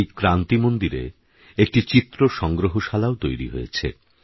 এই ক্রান্তি মন্দিরে একটি চিত্রসংগ্রহশালাও তৈরি হয়েছে